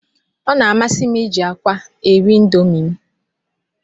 Ọ na-amasị m iji akwa eri indomi m.